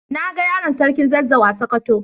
Na ga yaron sarkin zazzau a sokoto.